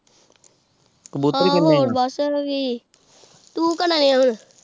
ਤੂੰ